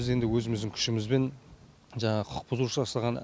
біз енді өзіміздің күшімізбен жаңағы құқық бұзушылық жасаған